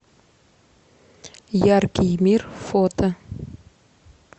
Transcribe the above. яркий мир фото